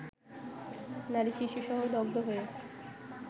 নারী শিশুসহ দগ্ধ হয়ে